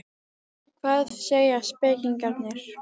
Hvað segja spekingarnir?